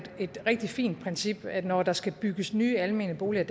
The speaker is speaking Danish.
et rigtig fint princip at når der skal bygges nye almene boliger